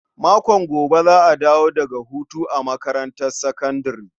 Makon gobe za a dawo daga hutu a makarantar sakandare.